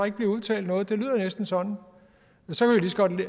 ikke bliver udbetalt noget det lyder næsten sådan og så kan vi